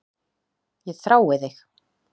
Ég þrái þig.